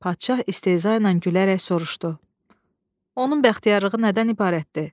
Padşah istehza ilə gülərək soruşdu: "Onun bəxtiyarlığı nədən ibarətdir?